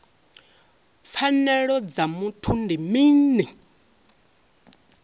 pfanelo dza muthu ndi mini